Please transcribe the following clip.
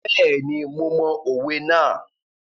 Bẹ́ẹ̀ni, mo mọ òwe náà.